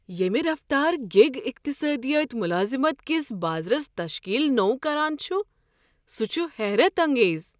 ییٚمہ رفتار گیگ اقتصادِیات ملازمت کس بازرس تشکیل نوٚو کران چھُ سہُ چھُ حیرت انگیز۔